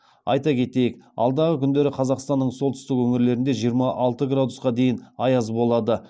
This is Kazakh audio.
айта кетейік алдағы күндері қазақстанның солтүстік өңірлерінде жиырма алты градусқа дейін аяз болады